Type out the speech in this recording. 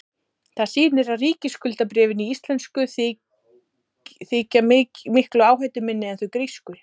það sýnir að ríkisskuldabréfin íslensku þykja miklu áhættuminni en þau grísku